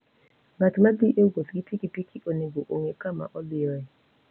Ng'at ma dhi e wuoth gi pikipiki onego ong'e kama odhiyoe.